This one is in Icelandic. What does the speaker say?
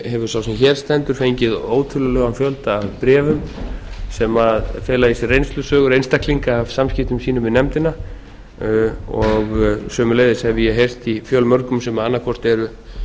hefur sá sem hér stendur fengið ótölulegan fjölda af bréfum sem fela í sér reynslusögur einstaklinga af samskiptum sínum við nefndina og sömuleiðis hef ég heyrt í fjölmörgum sem annað hvort eru